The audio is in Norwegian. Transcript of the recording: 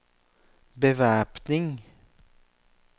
bevæpning